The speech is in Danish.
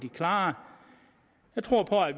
klare jeg tror på at